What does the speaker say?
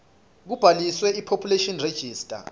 kubhaliswe kupopulation register